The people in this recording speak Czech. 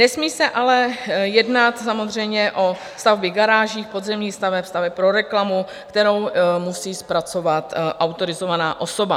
Nesmí se ale jednat samozřejmě o stavby garáží, podzemních staveb, staveb pro reklamu, kterou musí zpracovat autorizovaná osoba.